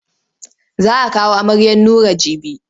Za a kawo amaryar Nura jibi.